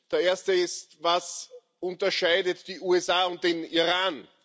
Der erste ist Was unterscheidet die USA und den Iran?